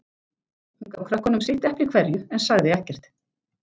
Hún gaf krökkunum sitt eplið hverju, en sagði ekkert.